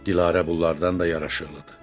Dilarə bunlardan da yaraşıqlıdır.